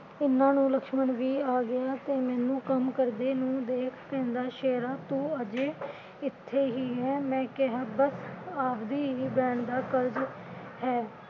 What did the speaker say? ਇਨ੍ਹਾਂ ਨੂੰ ਲਕਸ਼ਮਣ ਵੀ ਆ ਗਿਆ ਤੇ ਮੈਨੂੰ ਕੰਮ ਕਰਦੇ ਨੂੰ ਦੇਖ ਕਹਿੰਦਾ ਸ਼ੇਰਾ ਤੂੰ ਅਜੇ ਇਥੇ ਹੀ ਐ ਮੈੰ ਕਿਹਾ ਬਸ ਆਪਦੀ ਹੀ ਬਹਿਣ ਦਾ ਕਰਜ ਹੈ।